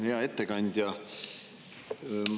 Hea ettekandja!